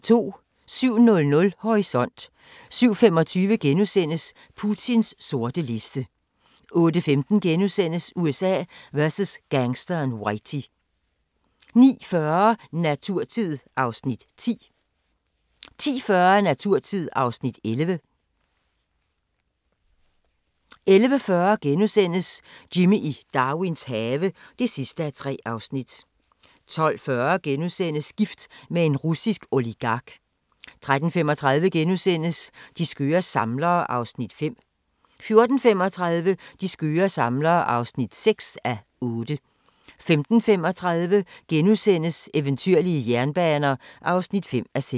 07:00: Horisont 07:25: Putins sorte liste * 08:15: USA vs. gangsteren Whitey * 09:40: Naturtid (Afs. 10) 10:40: Naturtid (Afs. 11) 11:40: Jimmy i Darwins have (3:3)* 12:40: Gift med en russisk oligark * 13:35: De skøre samlere (5:8)* 14:35: De skøre samlere (6:8) 15:35: Eventyrlige jernbaner (5:6)*